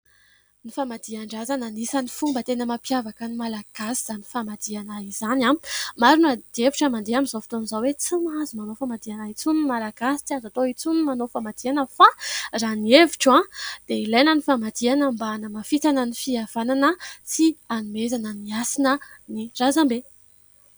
Ny famadihan-drazana. Anisany fomba tena mampiavaka ny malagasy izany famadihana izany. Maro ny adihevitra mandeha amin'izao foton'izao hoe tsy mahazo manao famadihana intsony ny malagasy, tsy azo atao intsony ny manao famadihana... Fa raha ny hevitro dia ilaina ny famadihana mba hanamafisana ny fihavanana sy hanomezana ny hasina ny razambe.